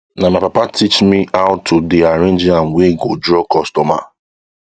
na my papa teach me me how to dey arrange yam wey go draw customer